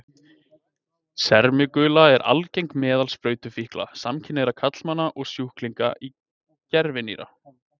Sermigula er algeng meðal sprautufíkla, samkynhneigðra karlmanna og sjúklinga í gervinýra.